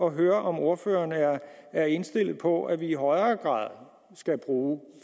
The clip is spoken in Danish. at høre om ordføreren er er indstillet på at vi i højere grad skal bruge